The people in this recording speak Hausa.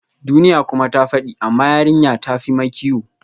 Duniya kuma ta fadi, amma yarinya ta fi makiyo